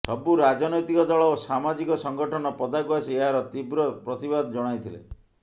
ସବୁ ରାଜନୈତିକ ଦଳ ଓ ସାମାଜିକ ସଂଗଠନ ପଦାକୁ ଆସି ଏହାର ତୀବ୍ର ପ୍ରତିବାଦ ଜଣାଇଥିଲେ